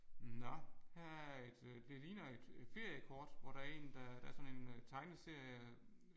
Nåh her er et det ligner et et feriekort hvor der er en der der er sådan en tegneserie